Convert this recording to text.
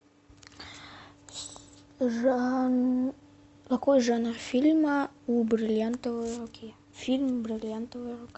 какой жанр фильма у бриллиантовой руки фильм бриллиантовая рука